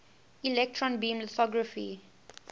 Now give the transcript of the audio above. electron beam lithography